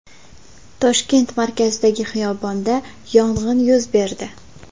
Toshkent markazidagi xiyobonda yong‘in yuz berdi.